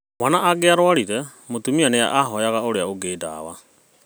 Mwana angĩarwarire, mũtumia nĩahoyaga ũrĩa ũngĩ ndawa